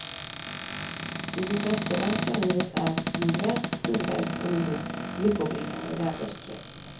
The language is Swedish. I det västerländska livet är nordväst, sydväst och nordost lyckobringande väderstreck.